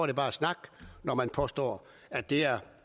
det bare snak når man påstår at det er